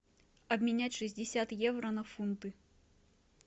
обменять шестьдесят евро на фунты